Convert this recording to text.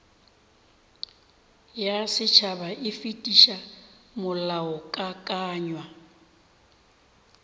ya setšhaba e fetiša molaokakanywa